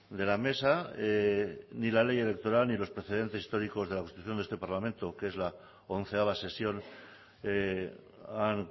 de la mesa ni la ley electoral ni los precedentes históricos de la constitución de este parlamento que es la onceava sesión han